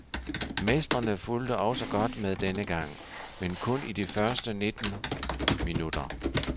Mestrene fulgte også godt med denne gang, men kun i de første nitten minutter.